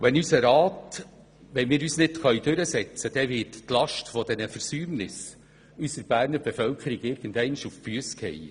Wenn wir uns hier nicht durchsetzen können, wird die Last dieser Versäumnisse unserer Berner Bevölkerung irgendwann auf die Füsse fallen.